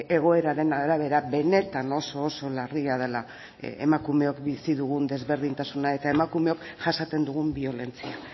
egoeraren arabera benetan oso oso larria dela emakumeok bizi dugun desberdintasuna eta emakumeok jasaten dugun biolentzia